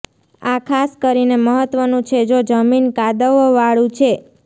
આ ખાસ કરીને મહત્વનું છે જો જમીન કાદવવાળું છે